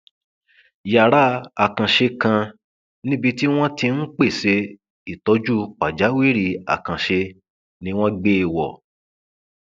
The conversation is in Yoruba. yàrá àkànṣe kan níbi tí wọn ti ń pèsè ìtọjú pàjáwìrì àkànṣe ni wọn gbé e wọ